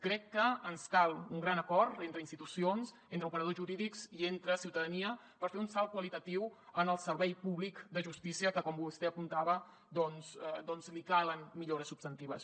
crec que ens cal un gran acord entre institucions entre operadors jurídics i entre ciutadania per fer un salt qualitatiu en el servei públic de justícia que com vostè apuntava doncs li calen millores substantives